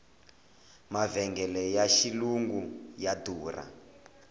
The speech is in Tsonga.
mavhengele ya xilungu ya durha